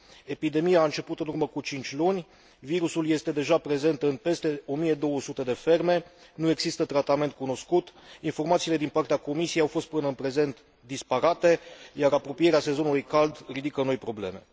Epidemia a început în urmă cu cinci luni, virusul este deja prezent în peste 1200 de ferme, nu există tratament cunoscut, informațiile din partea Comisiei au fost până în prezent disparate, iar apropierea sezonului cald ridică noi probleme.